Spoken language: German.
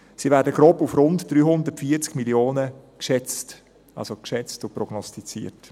Sie werden grob auf rund 340 Mio. Franken geschätzt und prognostiziert.